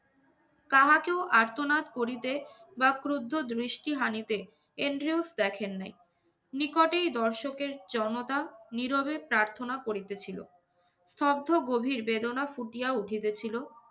কাহাকেও আর্তনাদ করিতে বা ক্রুদ্ধ দৃষ্টি হানিতে এন্ড্রিউলফ দেখেন নাই। নিকটেই দর্শকের জনতা নীরবে প্রার্থনা করিতেছিল। স্তব্ধ গভীর বেদনা ফুটিয়ে উঠিতেছিল